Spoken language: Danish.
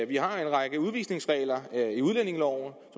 vi har en række udvisningsregler i udlændingeloven